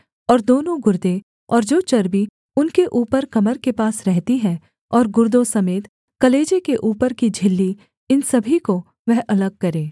और दोनों गुर्दे और जो चर्बी उनके ऊपर कमर के पास रहती है और गुर्दों समेत कलेजे के ऊपर की झिल्ली इन सभी को वह अलग करे